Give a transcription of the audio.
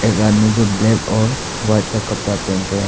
घर में जो ब्लैक और वाइट का कपड़ा पहन रहे--